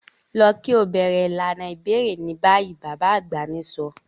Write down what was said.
Lọ ki o bẹrẹ ilana ibẹrẹ ni bayi! baba agba mi sọ.